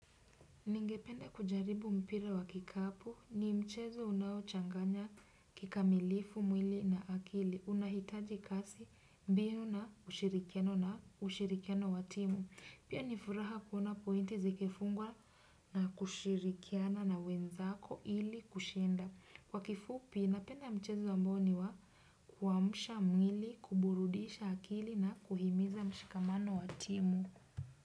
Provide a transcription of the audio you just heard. Ningepende kujaribu mpira wa kikapu ni mchezo unaochanganya kikamilifu mwili na akili unahitaji kasi mbio na ushirikiano na ushirikiano wa timu pia ni furaha kuona pointi zikifungwa na kushirikiana na wenzako ili kushinda kwa kifupi napenda mchezo ambao ni wa kuamsha mwili kuburudisha akili na kuhimiza mshikamano wa timu.